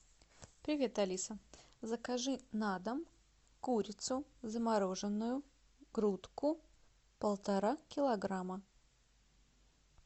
привет алиса закажи на дом курицу замороженную грудку полтора килограмма